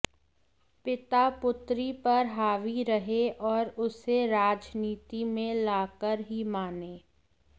पिता पुत्री पर हावी रहे और उसे राजनीति में ला कर ही माने